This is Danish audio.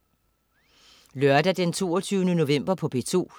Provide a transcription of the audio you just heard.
Lørdag den 22. november - P2: